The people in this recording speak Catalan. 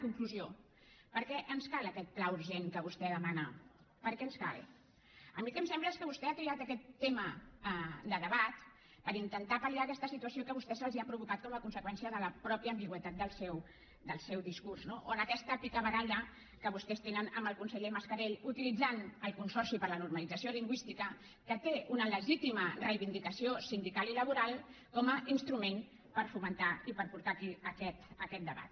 conclusió per què ens cal aquest pla urgent que vostè demana per què ens cal a mi el que em sembla és que vostè ha triat aquest tema de debat per intentar pal·vostès se’ls ha provocat com a conseqüència de la mateixa ambigüitat del seu discurs no o en aquesta picabaralla que vostès tenen amb el conseller mascarell utilitzant el consorci per la normalització lingüística que té una legítima reivindicació sindical i laboral com a instrument per fomentar i per portar aquí aquest debat